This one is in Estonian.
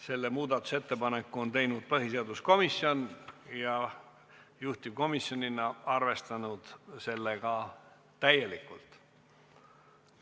Selle on teinud põhiseaduskomisjon ja juhtivkomisjonina on ta arvestanud seda täielikult.